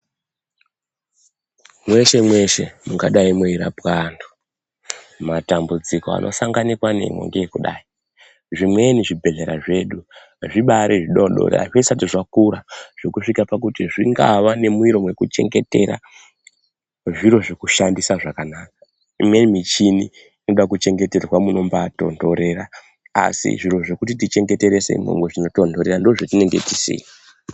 Mweshe-mweshe mungadai muirapwa antu matambudziko anosanganikwa nemo ngeekudai. Zvimweni zvibhedhlera zvedu zvibari zvidodori hazvisati zvakura zvekusvika pakuti zvingava nemuviro vekuchengetera zviro zvekushandisa zvakanaka. Imweni michini inodakuchengeterwa munombatonhorera, asi zviro zvekuti tichengeterese imwomwo munotonhorera ndozvatinenge tisina.